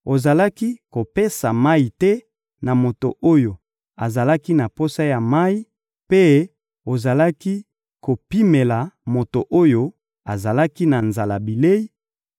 ozalaki kopesa mayi te na moto oyo azalaki na posa ya mayi, mpe ozalaki kopimela moto oyo azalaki na nzala bilei,